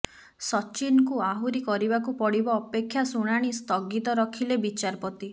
ସଚିନଙ୍କୁ ଆହୁରି କରିବାକୁ ପଡିବ ଅପେକ୍ଷା ଶୁଣାଣି ସ୍ଥଗିତ ରଖିଲେ ବିଚାରପତି